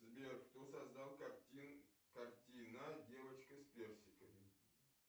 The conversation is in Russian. сбер кто создал картина девочка с персиками